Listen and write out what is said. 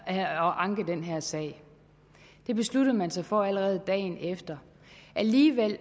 at anke den her sag det besluttede man sig for allerede dagen efter alligevel